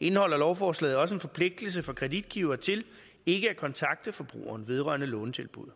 indeholder lovforslaget også en forpligtelse for kreditgiver til ikke at kontakte forbrugeren vedrørende lånetilbuddet